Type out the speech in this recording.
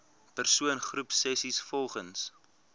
persoon groepsessies volgens